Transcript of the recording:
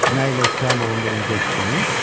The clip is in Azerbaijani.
Nə ilə ittiham olunduğunuzu eşitdiniz?